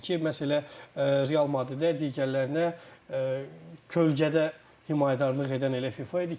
məhz elə Real Madrid də digərlərinə kölgədə himayədarlıq edən elə FIFA idi ki,